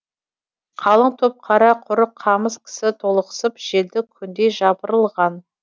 қалың топ қара құрық қамыс кісі толықсып желді күндей жапырылған